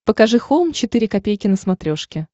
покажи хоум четыре ка на смотрешке